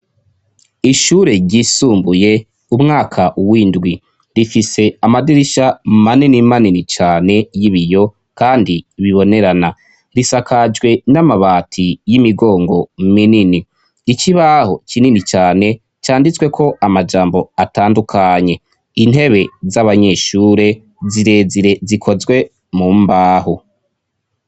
Ishure ryisumbuye umwaka w'indwi; rifise amadirisha manini manini cane y'ibiyo kandi bibonerana. Risakajwe n'amabati y'imigongo minini. Ikibaho kinini cane canditswe ko amajambo atandukanye. Intebe z'abanyeshure zirezire zikozwe mu mbaho.